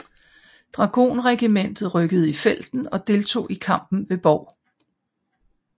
Dragonregiment rykkede i felten og deltog i kampen ved Bov